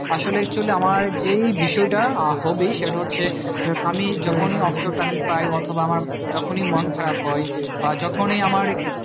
আসলে actually আমার যেই বিষয়টা আহ hobby সেটা হচ্ছে আমি যখনি offshore time পাই অথবা আমার যখনি মন খারাপ হয় বা যখনি আমার